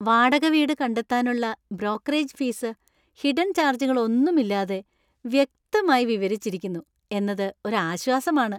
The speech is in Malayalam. വാടക വീട് കണ്ടെത്താനുള്ള ബ്രോക്കറേജ് ഫീസ് ഹിഡൻ ചാർജുകളൊന്നുമില്ലാതെ വ്യക്തമായി വിവരിച്ചിരിക്കുന്നു എന്നത് ഒരു ആശ്വാസമാണ്.